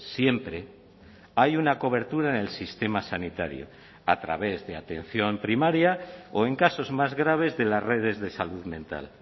siempre hay una cobertura en el sistema sanitario a través de atención primaria o en casos más graves de las redes de salud mental